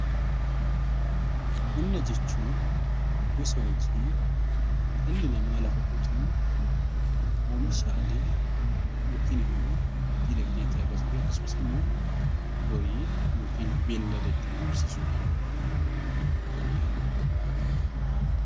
Qonna jechuun gosa hojii dhalli namaa lafa qotuun oomishaalee yookiin immoo dinagdee itti argatuu fi akkasumas immoo horii yookiin beellada ittiin horsiisuu dhaan galii irraa argatu dha.